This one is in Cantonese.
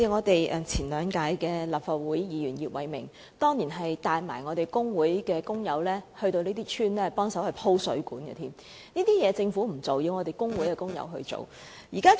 當年前立法會議員葉偉明甚至帶同工會工友前往這些鄉村幫忙鋪設水管，這些工作政府不做，卻要工會工友來做。